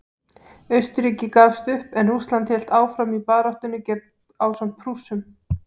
Austurríki gafst upp en Rússland hélt áfram baráttunni ásamt Prússum.